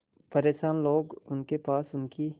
परेशान लोग उनके पास उनकी